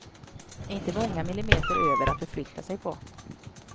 Inte många millimeter över att förflytta sig på.